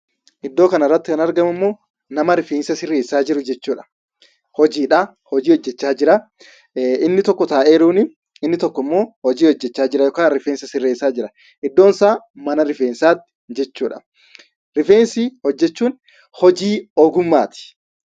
Iddoo kanarratti kan argamummoo nama rifeensa sirreessaa jiru jechuudha. Hojiidha hojii hojjachaa jira inni tokko taa'ee jira. Inni tokkommoo hojii hojjachaa jira yookaan rifeensa sirreessaa jira. Iddoon isaa mana rifeensaati jechuudha. Rifeensa hojjachuun hojii ogummaati.